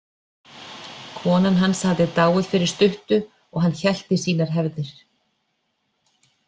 Konan hans hafði dáið fyrir stuttu og hann hélt í sínar hefðir.